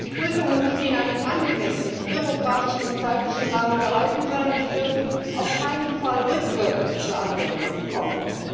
Die Prüfungen müssen in einem angemessenen bürokratischen und zeitlichen Rahmen gehalten sein, und sie dürfen auf keinen Fall rückwirkend zur Anwendung kommen.